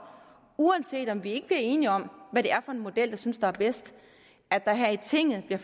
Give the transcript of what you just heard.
uanset om vi bliver enige om hvad det er for en model vi synes der er bedst at der her i tinget bliver